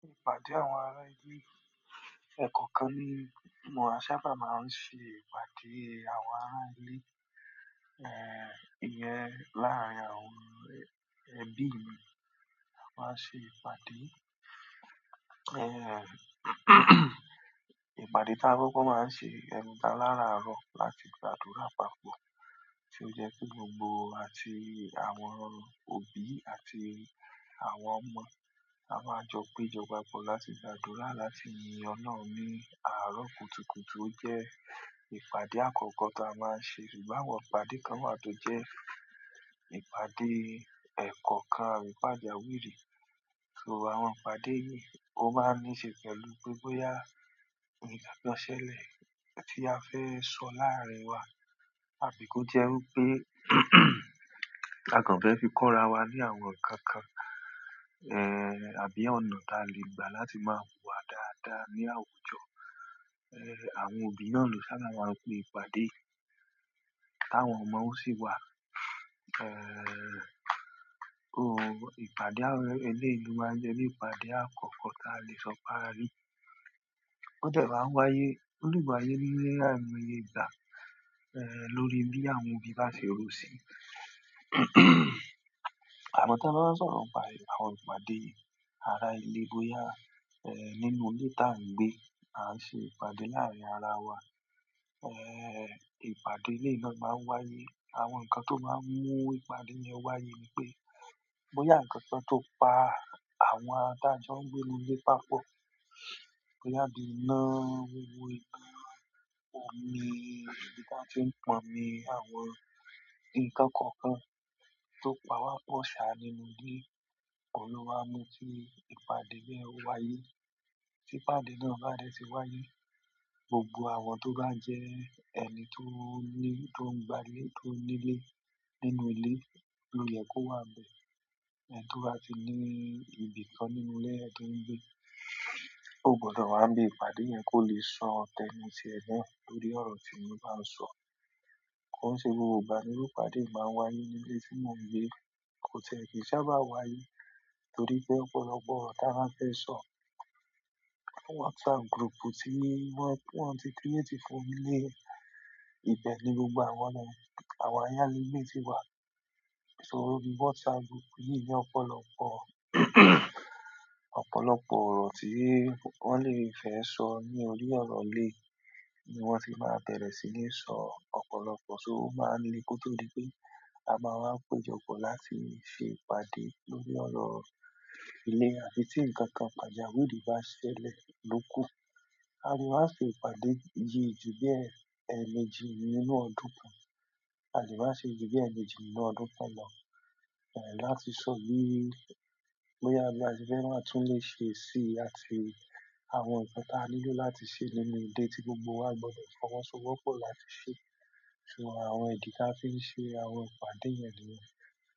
Ìpàdé àwọn ará ilé. E kọ̀ọ̀kan ni wọn sábà máa ń ṣe ìpàdé àwọn ará ilé, eh, ìyẹn láàárín àwọn ẹbí mi. A máa n ṣe ìpàdé, eh, ìpàdé tá kokó máa ṣe ẹnita láraaro láti gbàdúrà papọ̀ tí ó jẹ́ kí gbogbo àti àwọn òbí àti àwọn ọmọ a máa jọ péjọ papọ̀ láti gbàdúrà láti yin Ọlọ́run ní àárọ̀ kùtùkùtù ó jẹ́ ìpàdé àkọ́kọ́ tí a máa n ṣe. Ṣùgbọ́n àwọn ìpàdé kan wà tó jẹ́ ìpàdé ẹ̀kọ́ kan, ni pajawiri. So àwọn ìpàdé yìí o máa n níṣe pẹ̀lú pé bóyá ẹnita bá ṣẹlẹ̀ tí a fẹ́ sọ láàárín wa àbí kó jẹ́ pé a kàn fẹ́ fi kọ́ra wa ní àwọn nǹkan kan, eh, àbí ọ̀nà tí a lè gbà láti máa hùwà dáadáa ní àwùjọ. Eh, àwọn òbí náà ló sábà máa ń pe ìpàdé yìí tawọn ọmọ wọ́n o sì wà. Eh, o, ìpàdé àwọn ẹleyii lo maa jẹ́ ìpàdé àkọ́kọ́ tí a lè sọ pe arí. Ó dẹ̀ má ń wáyé, ó lè maa n wáyé ní aimoye igbàá, eh, lórí bí àwọn òbí bá ṣe rò sí i. Amo ti a bá wa n sọ̀rọ̀ nipá àwọn ìpàdé ará ilé bóyá, eh, nínú ilé tá ń gbé, à ń ṣe ìpàdé láàárín ara wa. Eh ìpàdé eleyii náà ma n wáyé àwọn nkan to ma n mu ìpàdé yen wáyé boya nkankan pa àwọn ti a jo n gbe inú ile papọ̀ bóyá di ina, wíwọ igbá, omi, ìbí tí wọ́n ti ń pọnmi àwọn nǹkan kọ̀ọ̀kan tó pa wá, po ṣà ni mo ní, ohun lo ma n mú kí ìpàdé yẹn ó wáyé. Tí ìpàdé náà bá dẹ́ ti wáyé, gbogbo àwọn tó bá jẹ́ ẹni tó ní, tó ń gba ilé, tó nílé nínú ilé ló yẹ kó wà nbẹ̀. Ẹni to ba ti ni ibìkan nínú ile yen to n gbe o gbodo wa nibi ìpàdé yen ko ba le so tenu ti e náà lórí oro ti won ba n so ko se gbogbo ìgbà ni iru ìpàdé bẹ́ẹ̀ ma n wáyé ni le ti mo gbe ko ti e ki n sábà wáyé to ri pe ọ̀pọ̀lọpọ̀ oro ti a ba feso whatsapp group ti won ti create fún onile ibe ni gbogbo awa ayale gbe ti wa. So ní WhatsApp group yìí ni ọ̀pọ̀lọpọ̀, ọ̀pọ̀lọpọ̀ ọ̀rọ̀ tí wọ́n lè fẹ́ sọ ní orí ọ̀rọ̀ ilé ni wọ́n ti máa bere síni sọ. Ọ̀pọ̀lọpọ̀ só máa ń ri kótó di pé a máa wá péjọ pọ̀ láti ṣe ìpàdé lórí ọ̀rọ̀ ilé àbí tí nǹkan kan pàjàwìrí bá ṣẹlẹ̀ lóku. A lè máa ṣe ìpàdé iyì ju bí ẹemejì nínú ọdún kan. A lè máa ṣe ju bí ẹni òjì nínú ọdún kan lọ, eh, láti sọ bí bóyá bí a ti fẹ́ máa tún le ṣe sí i àti àwọn nǹkan tí a nílò láti ṣe nínú ilé tí gbogbo wa gbọdọ̀ fọwọ́sowọ́pọ̀ láti ṣe. So àwọn ìdí tí a fi ń ṣe àwọn ìpàdé yẹn nìyẹn.